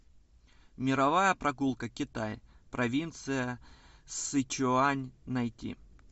мировая прогулка китай провинция сычуань найти